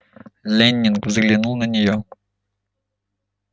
лэннинг взглянул на неё